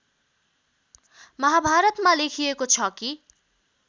महाभारतमा लेखिएको छ कि